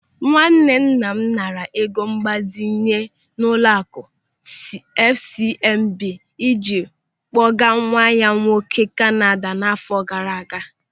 Nwanne nna m naara ego mgbazinye n'ụlọaku FCMB ịji kpọgaa nwa ya nwoke Kanada n'àfọ́ gaara aga.